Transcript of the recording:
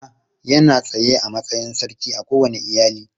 Uba yana tsaye a matsayin sarki a kowane iyali.